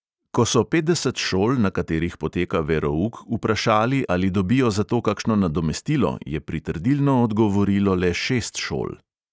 Ko so petdeset šol, na katerih poteka verouk, vprašali, ali dobijo za to kakšno nadomestilo, je pritrdilno odgovorilo le šest šol.